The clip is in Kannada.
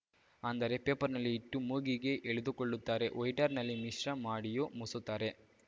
ಅಂದರೆ ಪೇಪರ್‌ನಲ್ಲಿ ಇಟ್ಟು ಮೂಗಿಗೆ ಎಳೆದುಕೊಳ್ಳುತ್ತಾರೆ ವೈಟ್ನರ್‌ನಲ್ಲಿ ಮಿಶ್ರ ಮಾಡಿಯೂ ಮೂಸುತ್ತಾರೆ